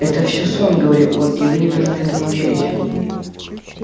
это всё сон говорил он и вы не должны этому верить